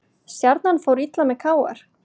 Stjarnan fór illa með KR